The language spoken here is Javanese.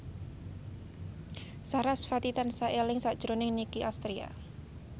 sarasvati tansah eling sakjroning Nicky Astria